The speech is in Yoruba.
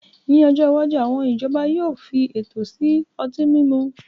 Ní ọjọ́ iwájú, àwọn ìjọba yóò fi ètò sí ọtí mímu